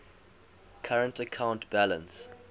current account balance